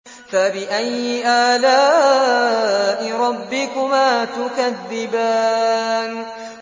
فَبِأَيِّ آلَاءِ رَبِّكُمَا تُكَذِّبَانِ